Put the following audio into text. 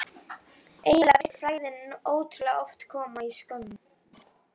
Eiginlega virtist frægðin ótrúlega oft koma í skömmtum.